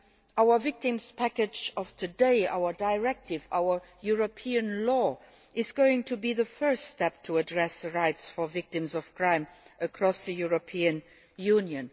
Our victims package of today, our directive, our European law, is going to be the first step to address the rights for victims of crime across the European Union.